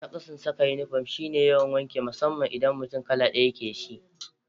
Naƙasun saka inifom shi ne yawan wanki musamman idan kala ɗaya mutum yake da shi